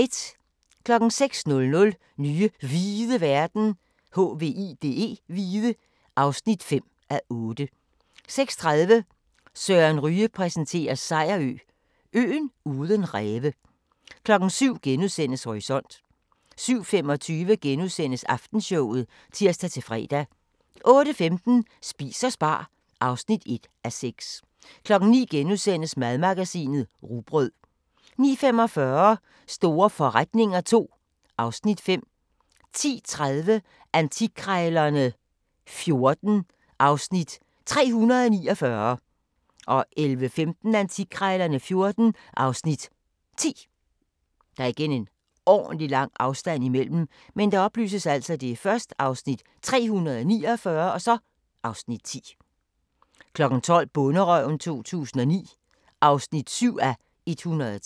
06:00: Nye hvide verden (5:8) 06:30: Søren Ryge præsenterer: Sejerø – øen uden ræve 07:00: Horisont * 07:25: Aftenshowet *(tir-fre) 08:15: Spis og spar (1:6) 09:00: Madmagasinet: Rugbrød * 09:45: Store forretninger II (Afs. 5) 10:30: Antikkrejlerne XIV (Afs. 349) 11:15: Antikkrejlerne XIV (Afs. 10) 12:00: Bonderøven 2009 (7:103)